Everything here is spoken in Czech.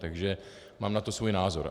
Takže mám na to svůj názor.